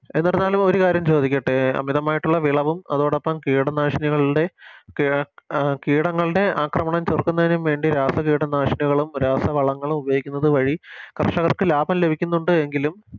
എന്നിരുന്നാലും ഒരു കാരണം ചോദിക്കട്ടെ അമിതമായിട്ടുള്ള വിളവും അതോടൊപ്പം കീടനാശിനികളുടെ ക് കീടങ്ങളുടെ അക്രമണം ചെറുത്തുന്നതിനു വേണ്ടി രാസകീട നാശിനികളും രാസ വളങ്ങളും ഉപയോഗിക്കുന്നത് വഴി കർഷകർക്ക് ലാഭം ലഭിക്കുന്നുണ്ട് എങ്കിലും